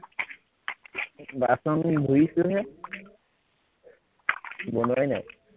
বাচন ধুইছোহে বনোৱাই নাই